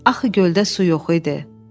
Axı göldə su yox idi.